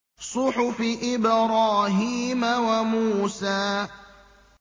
صُحُفِ إِبْرَاهِيمَ وَمُوسَىٰ